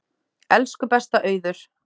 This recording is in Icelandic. Elsku besta Auður.